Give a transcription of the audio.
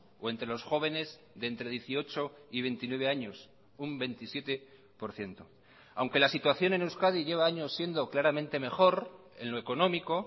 o entre los jóvenes de entre dieciocho y veintinueve años un veintisiete por ciento aunque la situación en euskadi lleva años siendo claramente mejor en lo económico